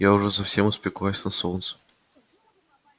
я уже совсем испеклась на солнце